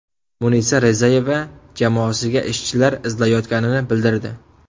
Munisa Rizayeva jamoasiga ishchilar izlayotganini bildirdi.